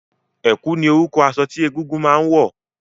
Ẹ̀kú ni orúkọ aṣọ tí egúngún máa ń wọ̀